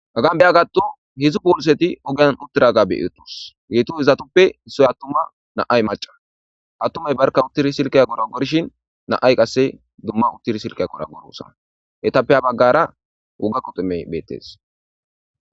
Hgaan beya gatto hidzdzu polseti ogiyan uttiraga beetos geeto hizatoppe issoy attumma naay maca attumay barka uttiri silqiya gora gorshin naay qasse dumma uttiri silqiya qora gorossa hetappe ha baggara wugakko timey beettes